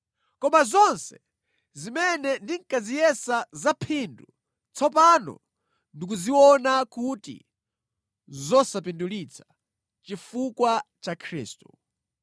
Koma zonse zimene ndinkaziyesa zaphindu, tsopano ndikuziona kuti nʼzosapindulitsa chifukwa cha Khristu.